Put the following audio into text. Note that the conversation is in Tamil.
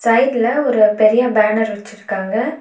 சைடுல ஒரு பெரிய பேனர் வச்சிருக்காங்க.